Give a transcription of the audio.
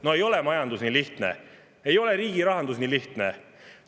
No ei ole majandus nii lihtne, ei ole riigi rahandus nii lihtne!